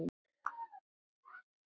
Tigin svanni á höfði ber.